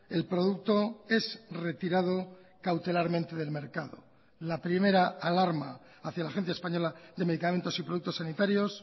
el producto es retirado cautelarmente del mercado la primera alarma hacía la agencia española de medicamentos y productos sanitarios